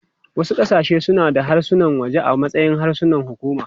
Wasu ƙasashe suna da harsunan waje a matsayin harsunan hukuma.